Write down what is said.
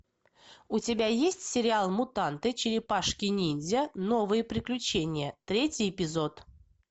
у тебя есть сериал мутанты черепашки ниндзя новые приключения третий эпизод